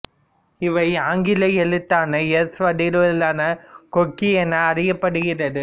இவை ஆங்கில எழுத்தான எஸ் வடிவிலான கொக்கி என அறியப்படுகிறது